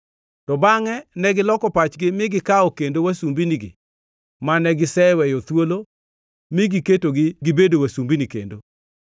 To bangʼe negiloko pachgi mi gikawo kendo wasumbinigi mane giseweyo thuolo mi giketogi gibedo wasumbini kendo.